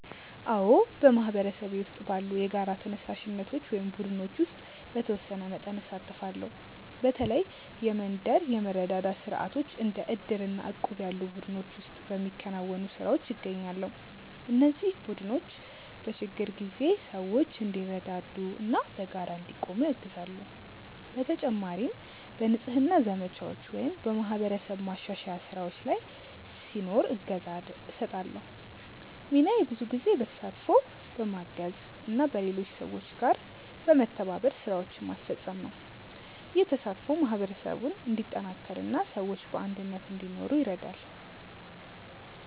አዎ፣ በማህበረሰቤ ውስጥ ባሉ የጋራ ተነሳሽነቶች እና ቡድኖች ውስጥ በተወሰነ መጠን እሳተፋለሁ። በተለይ የመንደር የመረዳዳት ስርዓቶች እንደ ዕድር እና እቁብ ያሉ ቡድኖች ውስጥ በሚከናወኑ ስራዎች እገኛለሁ። እነዚህ ቡድኖች በችግር ጊዜ ሰዎች እንዲረዳዱ እና በጋራ እንዲቆሙ ያግዛሉ። በተጨማሪም በንጽህና ዘመቻዎች ወይም በማህበረሰብ ማሻሻያ ስራዎች ላይ ሲኖር እገዛ እሰጣለሁ። ሚናዬ ብዙ ጊዜ በተሳትፎ፣ በማገዝ እና በሌሎች ሰዎች ጋር በመተባበር ስራዎችን ማስፈጸም ነው። ይህ ተሳትፎ ማህበረሰቡን እንዲጠናከር እና ሰዎች በአንድነት እንዲኖሩ ይረዳል።